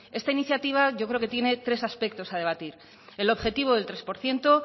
esta iniciativa yo creo que tiene tres aspectos a debatir el objetivo del tres por ciento